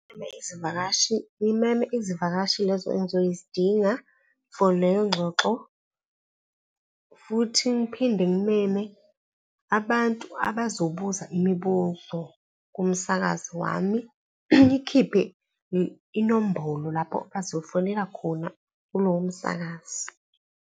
Ngimeme izivakashi, ngimeme izivakashi lezo engizozidinga for leyo ngxoxo futhi ngiphinde ngimeme abantu abazobuza imibuzo kumsakazi wami, ngikhiphe inombolo lapho bazofonela khona kulowo msakazi.